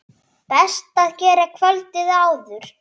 Best að gera kvöldið áður.